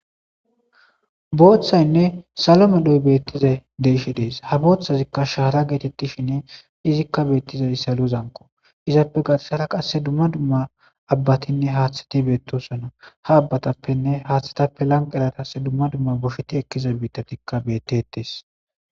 Booththaynne salome doy beettizay deeshi dees ha booththazikka shahara geetettishinne izikka beettizay salo zanqo izappe gatessara qasse dumma dumma abbatinne haaththati beettosona ha abbatappenne haaththatappe lanq eratas dumma dumma bosheti ekkiza biittatikka bettetes.